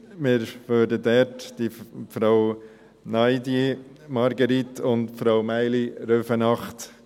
Wir unterstützen ganz klar Frau Ndiaye Marguerite und Frau Maïli Rüfenacht.